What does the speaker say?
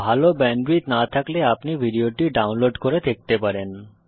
ভাল ব্যান্ডউইডথ না থাকলে আপনি ভিডিওটি ডাউনলোড করে দেখতে পারেন